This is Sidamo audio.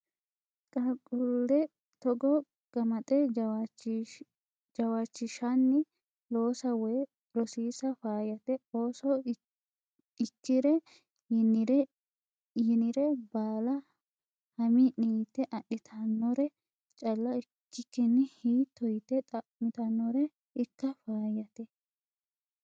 Qaaqqule togo gamaxe jawaachishanni lossa woyi rosiisa faayyate ,ooso ikkire yinire baalla hamii'ni yte adhittanore calla ikkikkini hiitto yite xa'mittanore ikka faayyate.